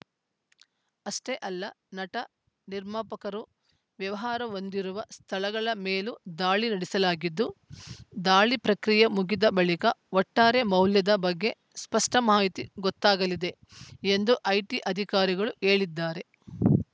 ಅಷ್ಟೇ ಅಲ್ಲ ನಟ ನಿರ್ಮಾಪಕರು ವ್ಯವಹಾರ ಹೊಂದಿರುವ ಸ್ಥಳಗಳ ಮೇಲೂ ದಾಳಿ ನಡೆಸಲಾಗಿದ್ದು ದಾಳಿ ಪ್ರಕ್ರಿಯೆ ಮುಗಿದ ಬಳಿಕ ಒಟ್ಟಾರೆ ಮೌಲ್ಯದ ಬಗ್ಗೆ ಸ್ಪಷ್ಟಮಾಹಿತಿ ಗೊತ್ತಾಗಲಿದೆ ಎಂದು ಐಟಿ ಅಧಿಕಾರಿಗಳು ಹೇಳಿದ್ದಾರೆ